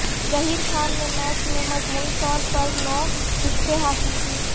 ظہیر خان نے میچ میں مجموعی طور پر نو وکٹیں حاصل کیں